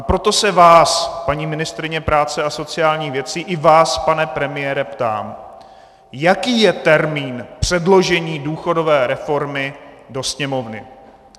A proto se vás, paní ministryně práce a sociálních věcí, i vás, pane premiére, ptám: Jaký je termín předložení důchodové reformy do Sněmovny?